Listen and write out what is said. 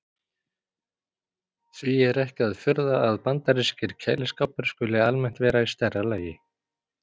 Því er ekki að furða að bandarískir kæliskápar skuli almennt vera í stærra lagi.